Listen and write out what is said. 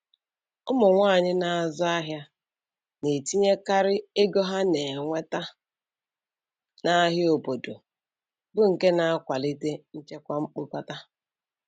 Ụmụ nwanyị na-azụ ahịa na-etinyekarị ego ha na-enweta n'ahịa obodo, bụ nke na-akwalite nchekwa mkpokọta